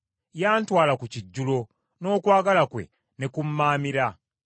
Yantwala ku kijjulo, n’okwagala kwe ne ku mmaamira.